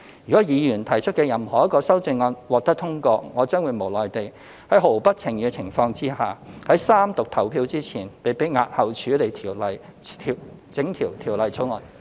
如果議員提出的任何一項修正案獲得通過，我將會無奈地在毫不情願的情況下，在三讀表決前被迫押後處理整項《條例草案》。